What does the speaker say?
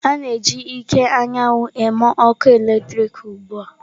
A na-eji ike anyanwụ eme ọkụ eletrik ugbu a.